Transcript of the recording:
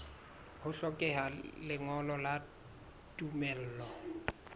ho hlokeha lengolo la tumello